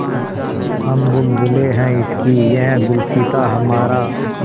हम बुलबुलें हैं इसकी यह गुलसिताँ हमारा